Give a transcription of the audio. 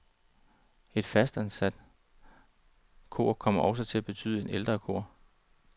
Et fastansat kor kommer også til at betyde et ældre kor.